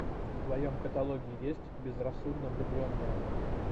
в твоем каталоге есть безрассудно влюбленная